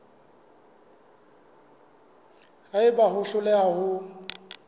ha eba o hloleha ho